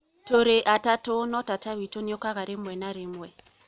Tũrĩ atatu no tata witu nĩ okaga rĩmwe na rimwe